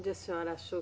A senhora achou